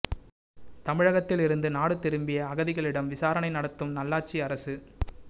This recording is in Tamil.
தமிழகத்தில் இருந்து நாடு திரும்பிய அகதிகளிடம் விசாரணை நடாத்தும் நல்லாட்சி அரசு